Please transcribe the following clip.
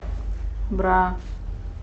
бра